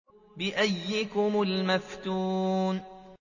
بِأَييِّكُمُ الْمَفْتُونُ